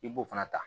I b'o fana ta